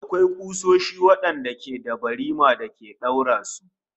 Akwai kusoshi wadanda suke da barima da ake daura su